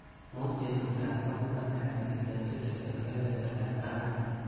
Muut betutap kwangwan kasit eng citizen kebebertap taman.